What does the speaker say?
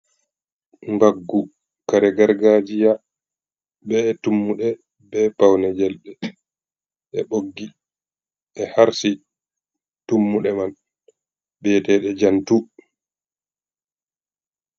Mbaggu kare gargajiya, Be tummuɗe be paune jelɓe, be ɓoggi ɓe harsi tummude man biyetede jantu.